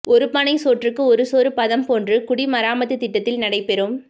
ஒரு பானைச் சோற்றுக்கு ஒரு சோறு பதம் போன்று குடிமராமத்துத் திட்டத்தில் நடைபெறும்